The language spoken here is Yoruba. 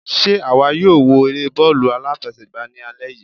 Sé àwa yóò wo eré bọ́ọ̀lù aláfẹsẹ̀gbá ní alẹ́ yìí?